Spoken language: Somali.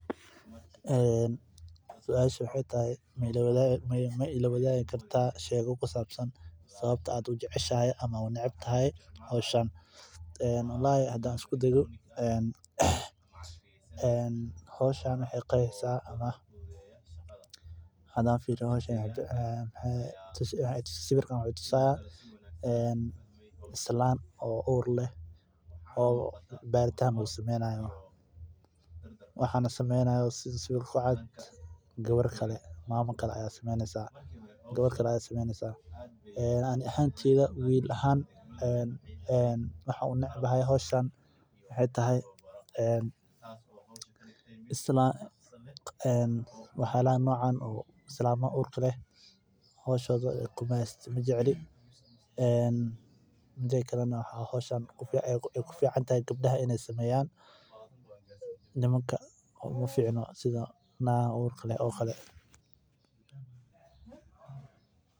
Suasha waxeey tahay maila wadaagi kartaa sheeka ku sabsan sababta aad ujeceshahay mise uneceb tahay howshan hadaan fiiriyo sawiraan waxaan arkaaya naag uur leh oo baritaan lagu sameynayo gabar kale ayaa sameyneysa ani haan howshan majecli waxaay ku fican tahay inaay gabdaha sameeyan nimanka uma ficno nagaha uurka leh camal.